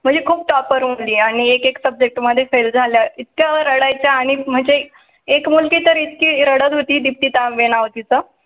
म्हणजे खूप topper होते आणि एकेक subject मध्ये फेल झाल्या इतक्या रडयाच्या आणि म्हणजे एक मुलगी तर इतकी रडत होती दीप्ती तांबे नाव होत तीच